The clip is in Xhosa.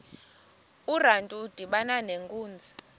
urantu udibana nenkunzi